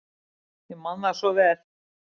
Ég man það svo vel.